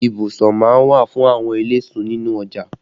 Ibùsọ má ń wà fún àwọn eléso nínú ọjà